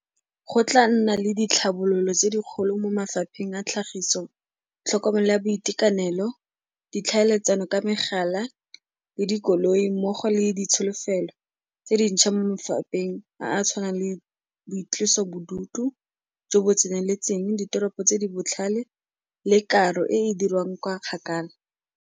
Go tla nna le ditlhabololo tse dikgolo mo mafapheng a tlhagiso, tlhokomelo ya boitekanelo, ditlhaeletsano ka megala, le dikoloi mmogo le ditsholofelo tse dintšha mo mafapheng a a tshwanang le boitlosobodutu jo bo tseneletseng, ditoropo tse di botlhale le karo e e dirwang kwa kgakala.